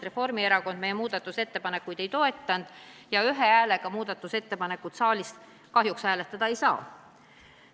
Reformierakond meie muudatusettepanekuid ei toetanud ja ühe häälega muudatusettepanekut saalis kahjuks hääletada ei saa.